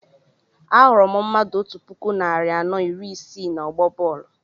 Ahụrụ m mmadụ otú puku narị anọ iri isii na ọgbọ bọọlu